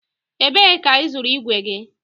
Ebe ka ị zụrụ igwe gị?